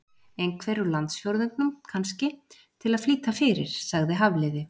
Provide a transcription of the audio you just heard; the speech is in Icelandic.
Einhvern úr landsfjórðungnum, kannski, til að flýta fyrir- sagði Hafliði.